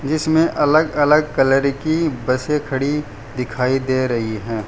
इसमें अलग अलग कलर की बसें खड़ी दिखाई दे रही है।